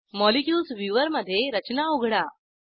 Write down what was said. molecules viewer मधे रचना उघडा